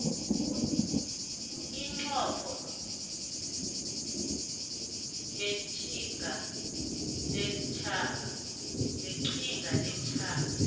umnqopho weqhinga lesitjhaba